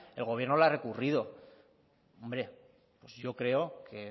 el gobierno la ha recurrido hombre pues yo creo que